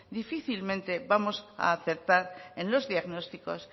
difícilmente vamos a acertar en los diagnósticos